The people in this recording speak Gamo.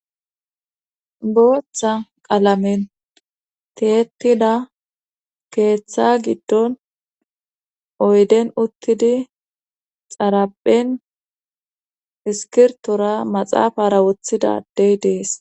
booththa qalamen teetida keeththa giddon oyden uttidi xaraphen iskirtora maxaafara wothidadey dees